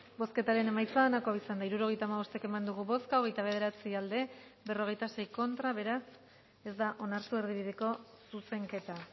bozketaren emaitza onako izan da hirurogeita hamabost eman dugu bozka hogeita bederatzi boto aldekoa cuarenta y seis contra beraz ez da onartu erdibideko zuzenketa